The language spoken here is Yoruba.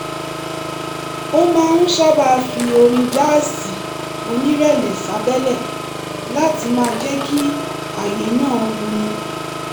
ó máa ń sábà fi orin jáàsì onírẹ̀lẹ̀ sábẹ́lẹ̀ láti máa jẹ́ kí àyè náà wuni